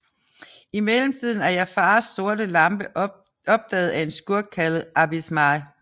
I mellemtiden er Jafars sorte lampe opdaget af en skurk kaldt Abis Mal